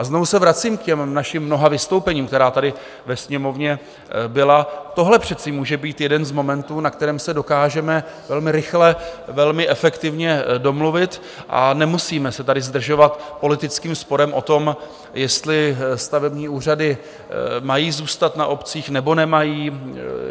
A znovu se vracím k těm našim mnoha vystoupením, která tady ve Sněmovně byla - tohle přece může být jeden z momentů, na kterém se dokážeme velmi rychle, velmi efektivně domluvit, a nemusíme se tady zdržovat politickým sporem o tom, jestli stavební úřady mají zůstat na obcích, nebo nemají.